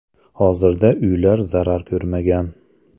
Hozirda uylar zarar ko‘rmagan.